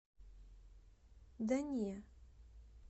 да не